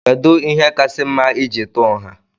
Kedụ ihe kasị mma iji tú nha?